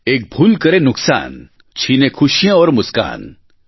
એક ભૂલ કરે નુકસાન છીને ખુશિયાં ઔર મુસ્કાન